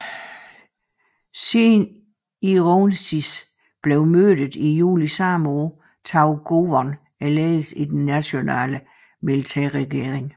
Siden Ironsis blev myrdet i juli samme år tog Gowon ledelsen i den nationelle militærregering